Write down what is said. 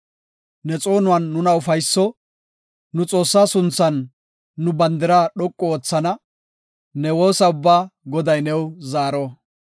Ne xoonuwan nuna ufayso; nu Xoossa sunthan nu bandira dhoqu oothana; ne woosa ubbaa Goday new zaaro.